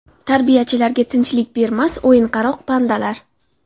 Tarbiyachilariga tinchlik bermas o‘yinqaroq pandalar.